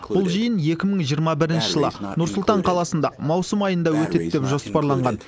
бұл жиын екі мың жиырма бірінші жылы нұр сұлтан қаласында маусым айында өтеді деп жоспарланған